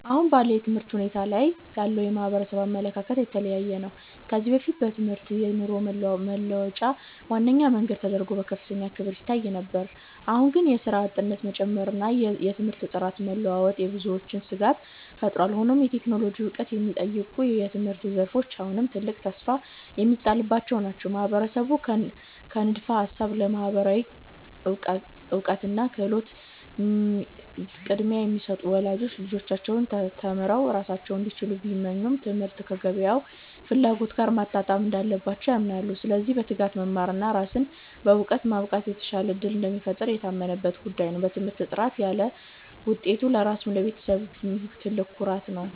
አሁን ባለው የትምህርት ሁኔታ ላይ ያለው የማህበረሰብ አመለካከት የተለያየ ነው። ከዚህ በፊት ትምህርት የኑሮ መለወጫ ዋነኛ መንገድ ተደርጎ በከፍተኛ ክብር ይታይ ነበር። አሁን ግን የሥራ አጥነት መጨመርና የትምህርት ጥራት መለዋወጥ በብዙዎች ስጋት ፈጥሯል። ሆኖም የቴክኖሎጂ ዕውቀት የሚጠይቁ የትምህርት ዘርፎች አሁንም ትልቅ ተስፋ የሚጣልባቸው ናቸው። ማህበረሰቡ ከንድፈ ሃሳብ ለተግባራዊ እውቀትና ክህሎት ቅድሚያ እየሰጡ ነው። ወላጆች ልጆቻቸው ተምረው ራሳቸውን እንዲችሉ ቢመኙም፣ ትምህርቱ ከገበያው ፍላጎት ጋር መጣጣም እንዳለበት ያምናሉ። ስለዚህ በትጋት መማርና ራስን በዕውቀት ማብቃት የተሻለ ዕድል እንደሚፈጥር የታመነበት ጉዳይ ነው። በትምህርት ጥረት ካለ ውጤቱ ለራስም ለቤተሰብም ትልቅ ኩራት ነው።